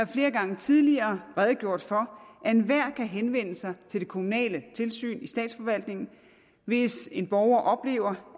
flere gange tidligere redegjort for at enhver kan henvende sig til det kommunale tilsyn i statsforvaltningen hvis en borger oplever